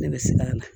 Ne bɛ siran a la